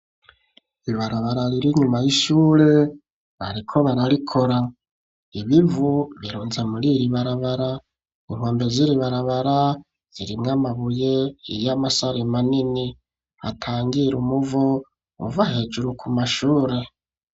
Ibarabara, rira inyuma y'ishure, bariko bararikora; ibivu, birunze muri iri barabara; inkombe z'iri barabara, zirimwo amabuye, y'amasare, manini, atangira umuvo, uva hejuru, ku mashure.